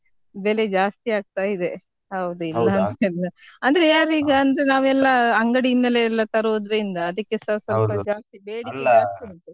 ಬೆಲೆ ಜಾಸ್ತಿ ಆಗ್ತಾ ಇದೆ, ಅಂದ್ರೆ ಯಾರ್ ಈಗ ಅಂದ್ರೆ ನಾವೆಲ್ಲ ಅಂಗಡಿ ಇಂದಲೇ ಎಲ್ಲ ತರೋದ್ರಿಂದ ಅದಿಕ್ಕೆಸ.